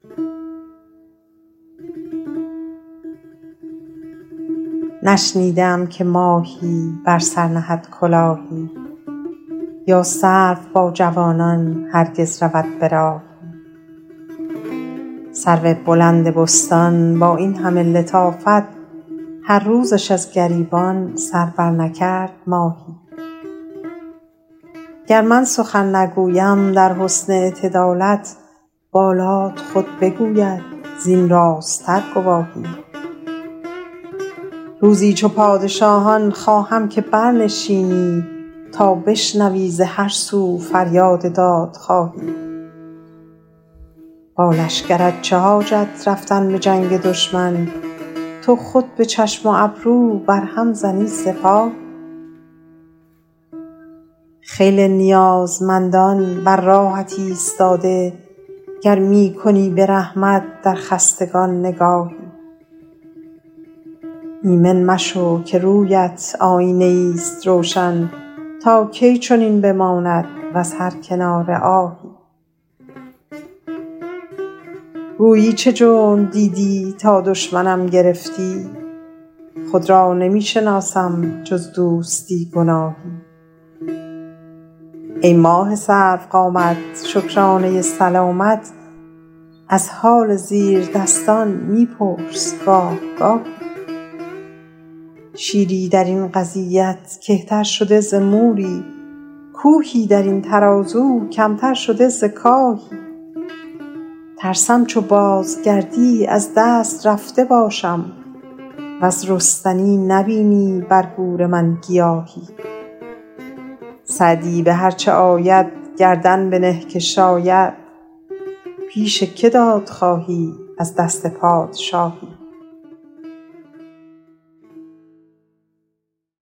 نشنیده ام که ماهی بر سر نهد کلاهی یا سرو با جوانان هرگز رود به راهی سرو بلند بستان با این همه لطافت هر روزش از گریبان سر برنکرد ماهی گر من سخن نگویم در حسن اعتدالت بالات خود بگوید زین راست تر گواهی روزی چو پادشاهان خواهم که برنشینی تا بشنوی ز هر سو فریاد دادخواهی با لشکرت چه حاجت رفتن به جنگ دشمن تو خود به چشم و ابرو بر هم زنی سپاهی خیلی نیازمندان بر راهت ایستاده گر می کنی به رحمت در کشتگان نگاهی ایمن مشو که روی ات آیینه ای ست روشن تا کی چنین بماند وز هر کناره آهی گویی چه جرم دیدی تا دشمنم گرفتی خود را نمی شناسم جز دوستی گناهی ای ماه سرو قامت شکرانه سلامت از حال زیردستان می پرس گاه گاهی شیری در این قضیت کهتر شده ز موری کوهی در این ترازو کم تر شده ز کاهی ترسم چو بازگردی از دست رفته باشم وز رستنی نبینی بر گور من گیاهی سعدی به هر چه آید گردن بنه که شاید پیش که داد خواهی از دست پادشاهی